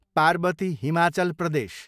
Parvati, Himachal Pradesh